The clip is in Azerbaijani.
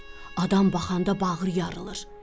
Adam baxanda bağrı yarılır.